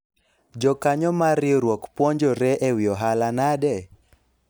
jokanyo mar riwruok puonjore ewi ohala nade ?